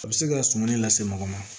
A bɛ se ka sumani lase mɔgɔ ma